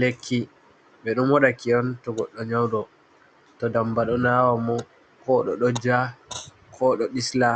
Lekki be don modaki onto goddo nyaudo, to damba do nawa mo ko to doja ko to do disla